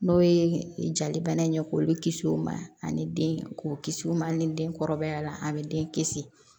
N'o ye jalibana in ye k'olu kisi u ma ani den k'u kisi u ma ni den kɔrɔbaya la a bɛ den kisi